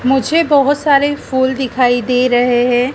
मुझे बहोत सारे फूल दिखाई दे रहे है।